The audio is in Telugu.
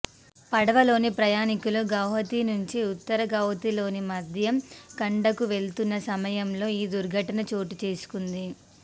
పడవలోని ప్రయాణికులు గౌహతి నుంచి ఉత్తర గౌహతిలోని మధ్యం ఖండకు వెళ్తున్న సమయంలో ఈ దుర్ఘటన చోటుచేసుకుంది